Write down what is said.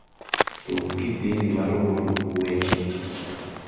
tug kipindi maluo tuk weche